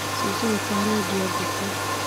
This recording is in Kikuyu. Cũcũ witũ arendĩa ngũkũ